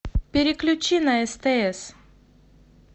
переключи на стс